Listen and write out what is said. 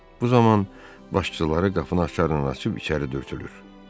Bu zaman başlıqları qapını aşkar açıb içəri dürtülür.